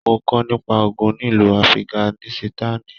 Mo kọ nípa ogún nílu Afiganisitani.